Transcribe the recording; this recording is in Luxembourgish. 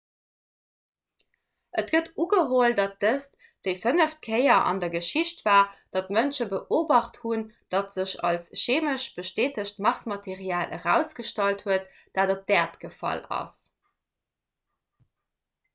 et gëtt ugeholl datt dëst déi fënneft kéier an der geschicht war datt mënsche beobacht hunn wat sech als cheemesch bestätegt marsmaterial erausgestallt huet dat op d'äerd gefall ass